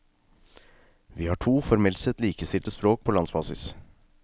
Vi har to formelt sett likestilte språk på landsbasis.